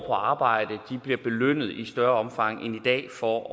arbejde bliver belønnet i større omfang end i dag for